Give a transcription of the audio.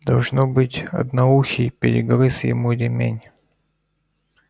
должно быть одноухий перегрыз ему ремень